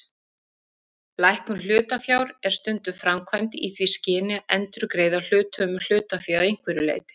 Lækkun hlutafjár er stundum framkvæmd í því skyni að endurgreiða hluthöfum hlutafé að einhverju leyti.